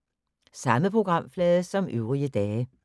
Samme programflade som øvrige dage